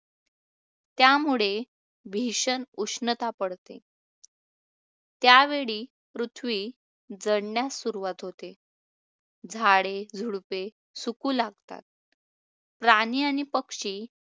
त्यामुळे भीषण उष्णता पडते. त्या वेळी, पृथ्वी जळण्यास सुरुवात होते, झाडे झुडुपे सुकू लागतात, प्राणी आणि पक्षी